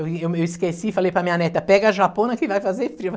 Eu me eu me esqueci, falei para minha neta, pega a japona que vai fazer frio.